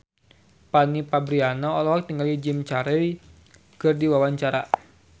Fanny Fabriana olohok ningali Jim Carey keur diwawancara